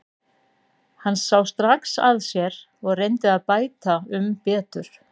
Hann sá strax að sér og reyndi að bæta um betur.